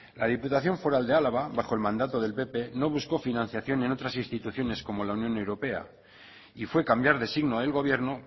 la diputación foral de álava bajo el mandato del pp no buscó financiación en otras instituciones como la unión europea y fue cambiar de signo el gobierno